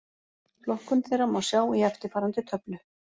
Flokkun þeirra má sjá í eftirfarandi töflu: